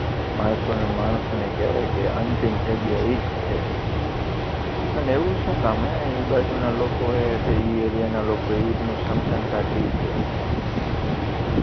અંતિમ જગ્યા ઇજ છે અને એવું સુકામે હે ઇ બાજુના લોકો કે ઇ એરિયાના લોકો ઈનું સમસાન ઘાટ ઇ છે